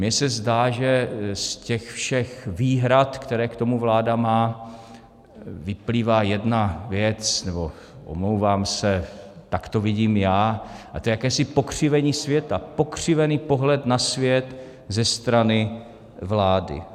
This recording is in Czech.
Mně se zdá, že z těch všech výhrad, které k tomu vláda má, vyplývá jedna věc, nebo, omlouvám se, tak to vidím já, a to je jakési pokřivení světa, pokřivený pohled na svět ze strany vlády.